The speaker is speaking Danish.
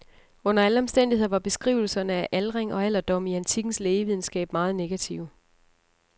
Under alle omstændigheder var beskrivelserne af aldring og alderdom i antikkens lægevidenskab meget negative.